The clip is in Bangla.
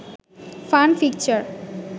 fun picture